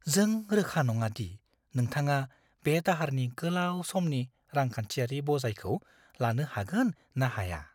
जों रोखा नङा दि नोंथाङा बे दाहारनि गोलाव समनि रांखान्थियारि बजायखौ लानो हागोन ना हाया।